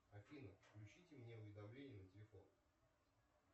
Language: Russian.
афина включите мне уведомления на телефон